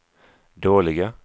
dåliga